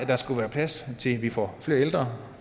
der skulle være plads til at vi får flere ældre